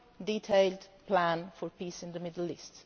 detailed plan for peace in the Middle East.